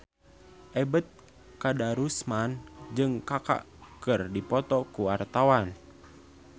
Ebet Kadarusman jeung Kaka keur dipoto ku wartawan